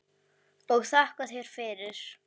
Og þakka þér fyrir mig.